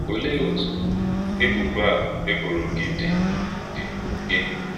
Ọ̀leé otú ébùbọ̀ a e bòrọ̀ gị dì́ dì́ gị?